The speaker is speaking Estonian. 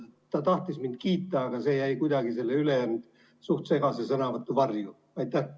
Ta tahtis mind kiita, aga see jäi kuidagi selle ülejäänud suht segase sõnavõtu varju.